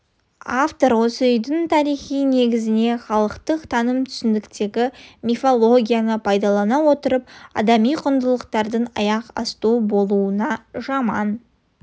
автор осы үйдің тарихи негізіне халықтық таным-түсініктегі мифологияны пайдалана отырып адами құндылықтардың аяқ асты болуына жаман